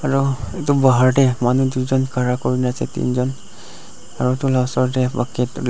aru itu dahar teh manu duijun khara kurina ase tinjun aru itu la osor teh bucket .